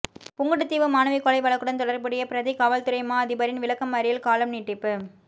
புங்குடுதீவு மாணவி கொலை வழக்குடன் தொடர்புடைய பிரதிக் காவல்துறை மா அதிபரின் விளக்க மறியல் காலம் நீடிப்பு